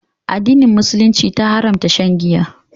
Addinin musulunci ta haramta shan Giya.